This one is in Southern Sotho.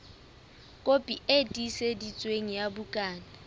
kopi e tiiseditsweng ya bukana